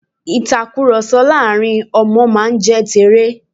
ìtakùròsọ láàrin àwọn Ọmọ máa n jẹ́ teré